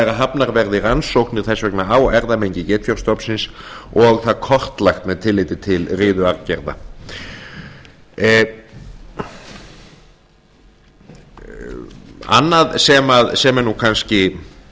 er að hafnar verði rannsóknir þess vegna á erfðamengi geitfjárstofnsins og það kortlagt með tilliti til riðuaðgerða annað sem er kannski